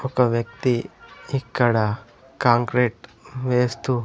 ఒక వ్యక్తి ఇక్కడ కాంక్రీట్ వేస్తూ--